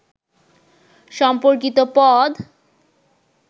সম্পর্কিত পদ